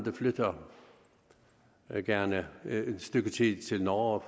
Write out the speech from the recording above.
flytter gerne et stykke tid til norge